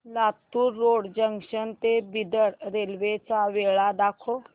Latur road junction ते Bidar railway च्या वेळा दाखव